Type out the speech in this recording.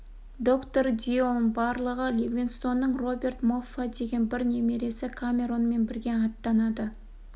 доктор дильон барлығы ливингстонның роберт моффа деген бір немересі камеронмен бірге аттанады